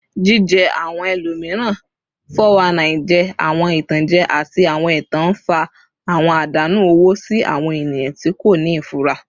Jije awọn ẹlomiran (419) jẹ awọn itanjẹ ati awọn ẹtan, nfa awọn adanu owo si awọn eniyan ti ko ni ifura.